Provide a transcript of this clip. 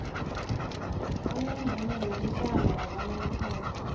onemvumo yokuhlala yakanomphela